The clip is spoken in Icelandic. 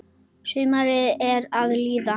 Sumarið er að líða.